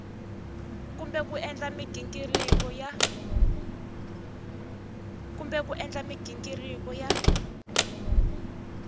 kumbe ku endla mighingiriko ya